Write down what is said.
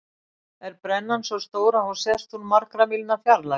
Er brennan svo stór að hún sést úr margra mílna fjarlægð.